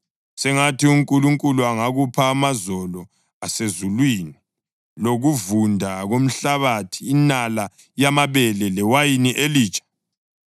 Sengathi uNkulunkulu angakupha amazolo asezulwini lokuvunda komhlabathi, inala yamabele lewayini elitsha.